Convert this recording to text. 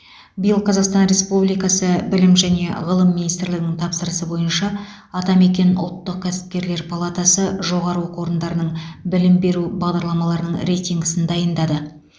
биыл қазақстан республикасы білім және ғылым министрлігінің тапсырысы бойынша атамекен ұлттық кәсіпкерлер палатасы жоғары оқу орындарының білім беру бағдарламаларының рейтингісін дайындады